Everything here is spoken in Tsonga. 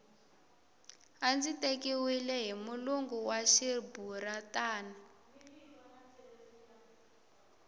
a ndzi tekiwile hi mulungu wa riburantani